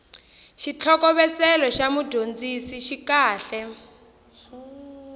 xitlhokovetselo xa mudyondzisi xi kahle